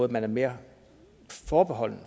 man er mere forbeholden